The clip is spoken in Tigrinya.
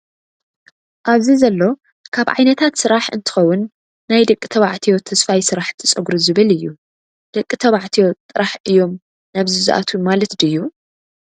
ኣብዚ ዘሎ ካብ ዓይነታት ስራሕ እንትከው ናይ ደቂ ተባዕትዮ ተስፋይ ስራሕቲ ፀጉሪ ዝብል እዩ። ደቂ ተባዕትዮ ጥራሕ እዮም ናብዚ ዝኣትው ማለት ድዮ ?